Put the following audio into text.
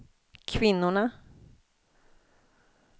kvinnorna